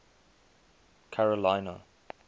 carolina